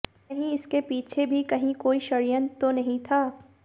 कहीं इसके पीछे भी कहीं कोई षड्यंत्र तो नहीं था